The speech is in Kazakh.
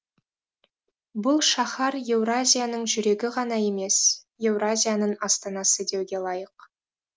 бұл шаһар еуразияның жүрегі ғана емес еуразияның астанасы деуге лайық